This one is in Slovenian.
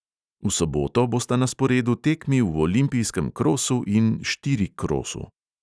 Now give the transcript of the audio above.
V soboto bosta na sporedu tekmi v olimpijskem krosu in štirikrosu.